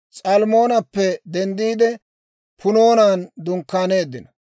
S'almmoonappe denddiide, Punoonan dunkkaaneeddino.